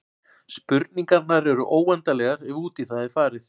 Spurningarnar eru óendanlegar ef út í það er farið.